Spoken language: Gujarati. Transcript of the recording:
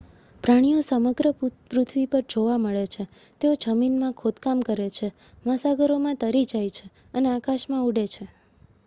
પ્રાણીઓ સમગ્ર પૃથ્વી પર જોવા મળે છે તેઓ જમીનમાં ખોદકામ કરે છે મહાસાગરોમાં તરી જાય છે અને આકાશમાં ઉડે છે